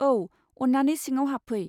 औ, अन्नानै सिङाव हाबफै।